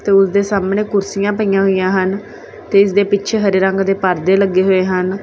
ਤੇ ਉਸਦੇ ਸਾਹਮਣੇ ਕੁਰਸੀਆਂ ਪਈਆਂ ਹੋਈਆਂ ਹਨ ਤੇ ਇਸ ਦੇ ਪਿੱਛੇ ਹਰੇ ਰੰਗ ਦੇ ਪਰਦੇ ਲੱਗੇ ਹੋਏ ਹਨ।